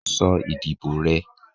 sọ ìdíbò rẹ!